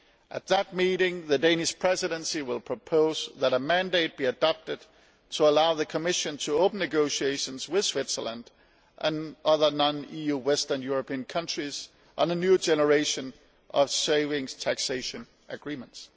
At that meeting, the Danish Presidency will propose that a mandate be adopted to allow the Commission to open negotiations with Switzerland and other non EU Western European countries on a new generation of savings taxation agreements.